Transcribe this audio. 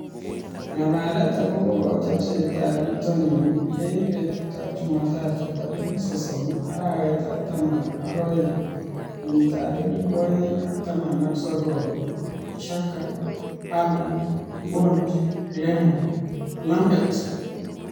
Ng'alalet akobo kotiorsetab bitonin eng betutab Jumatatu tarik sosom , arawetab taman ak oeng, kenyitab elebu oeng ak taman ak sokol :Xhaka, Haaland, Bony, Lemar, Lamptey